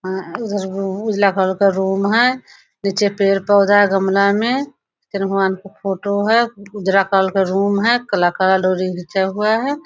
उधर उ उजला कलर का रूम है नीचे पेड़-पौधा है गमला में भगवान का फोटो है उजला कलर का रूम है कलाकार --